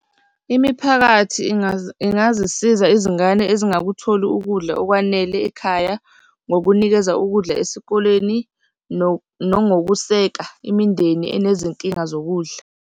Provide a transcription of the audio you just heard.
Imiphakathi ingazisiza izingane ezingakutholi ukudla okwanele ekhaya, ngokunikeza ukudla esikoleni nongokuseka imindeni enezinkinga zokudla.